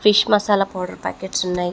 Fish masala powder packets ఉన్నాయి.